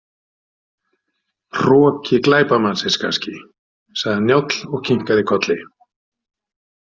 Hroki glæpamannsins kannski, sagði Njáll og kinkaði kolli.